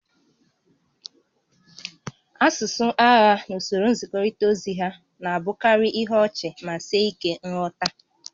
Asụsụ agha na usoro nzikọrịta ozi ha na-abụkarị ihe ọchị ma sie ike nghọta